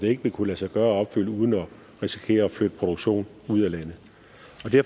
det ikke vil kunne lade sig gøre at opfylde uden at risikere at flytte produktionen ud af landet